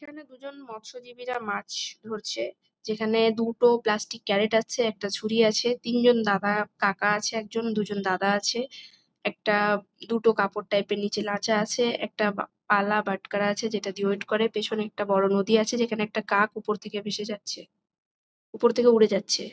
এখানে দুজন মৎস্যজীবীরা মাছ ধরছে। যেখানে দুটো প্লাস্টিক ক্যারেট আছে। একটা ছুড়ি আছে। তিনজন দাদা কাকা আছে একজন দুজন দাদা আছে। একটা দুটো কাপড় টাইপ - এর নিচে লাচা আছে। একটা পালা বাটখারা আছে যেটা দিয়ে ওয়েট করে। পেছনে একটা বড়ো নদী আছে যেখানে একটা কাক উপর থেকে ভেসে যাচ্ছে। উপর থেকে উড়ে যাচ্ছে।